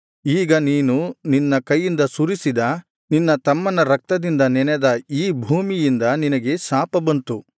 ಈಗ ನೀನು ನಿನ್ನ ಕೈಯಿಂದ ಸುರಿಸಿದ ನಿನ್ನ ತಮ್ಮನ ರಕ್ತದಿಂದ ನೆನೆದ ಈ ಭೂಮಿಯಿಂದ ನಿನಗೆ ಶಾಪ ಬಂತು